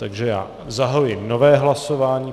Takže já zahajuji nové hlasování.